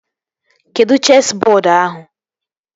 Kedụ chesị bọọdu ahụ?